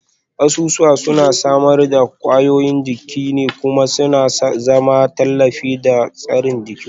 Kasusuwa suna samar da ƙwayoyin jini kuma suna zama tallafi da tsari ga jikinmu